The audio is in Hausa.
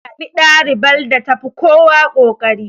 Za a zaɓi ɗalibar da tafi kowa kokari.